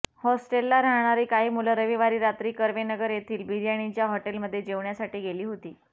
हॉस्टेलला राहणारी काही मुलं रविवारी रात्री कर्वेनगर येथील बिर्याणीच्या हॉटेलमध्ये जेवण्यासाठी गेली होती